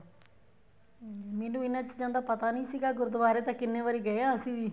ਹਮ ਮੈਨੂੰ ਇਹਨਾ ਚੀਜ਼ਾਂ ਦਾ ਪਤਾ ਨਹੀਂ ਸੀਗਾ ਗੁਰੂਦਵਾਰੇ ਤਾਂ ਕਿੰਨੇ ਵਾਰੀ ਗਏ ਆ ਅਸੀਂ ਵੀ